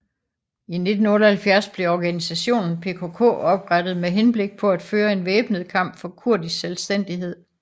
I 1978 blev organisationen PKK oprettet med henblik på at føre en væbnet kamp for kurdisk selvstændighed